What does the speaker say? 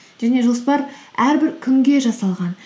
және жоспар әрбір күнге жасалған